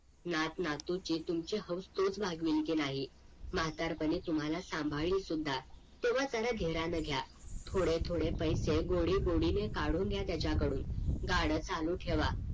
नात नातूची तुमची हाऊस तोच भागवेल की नाही म्हातारपणी तुम्हाला सांभाळेल सुद्धा तेव्हा त्याला धीराने घ्या थोडे थोडे पैसे गोडी गोडी ने काडून घ्या त्याच्या कडून गाड चालू ठेवा